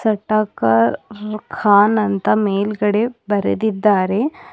ಟಕ್ಕರ್ ಖಾನ್ ಅಂತ ಮೇಲ್ಗಡೆ ಬರೆದಿದ್ದಾರೆ.